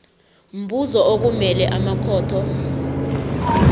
mbuzo okumele amakhotho